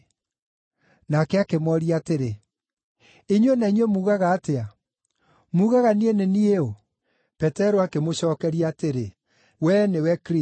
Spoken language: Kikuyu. Nake akĩmooria atĩrĩ, “Inyuĩ na inyuĩ muugaga atĩa? Muugaga niĩ nĩ niĩ ũ?” Petero akĩmũcookeria atĩrĩ, “Wee nĩwe Kristũ.”